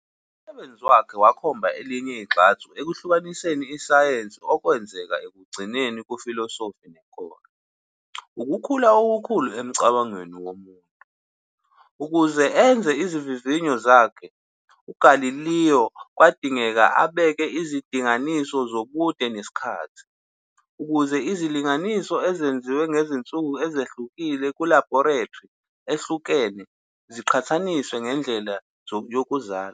Umsebenzi wakhe wakhomba elinye igxathu ekuhlukaniseni isayensi okwenzeka ekugcineni kufilosofi nenkolo, ukukhula okukhulu emcabangweni womuntu. Ukuze enze izivivinyo zakhe, uGalileo kwadingeka abeke izindinganiso zobude nesikhathi, ukuze izilinganiso ezenziwe ngezinsuku ezihlukile nakulabhorethri ehlukene ziqhathaniswe ngendlela yokuzala.